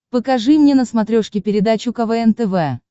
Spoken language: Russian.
покажи мне на смотрешке передачу квн тв